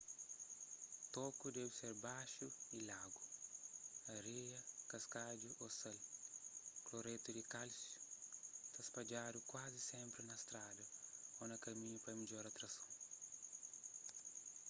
toku debe ser baxu y lagu. areia kaskadju ô sal kloretu di kálsiu ta spadjadu kuazi sénpri na strada ô na kaminhu pa midjora trason